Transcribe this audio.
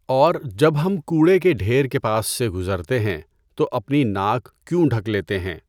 اور جب ہم کوڑے کے ڈھیر کے پاس سے گزرتے ہیں تو اپنی ناک کیوں ڈھک لیتے ہیں؟